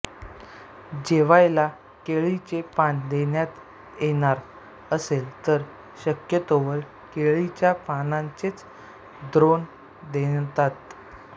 जेवायला केळीचे पान देण्यात येणार असेल तर शक्यतोवर केळीच्या पानाचेच द्रोण देतात